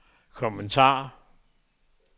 kommentar